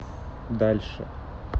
дальше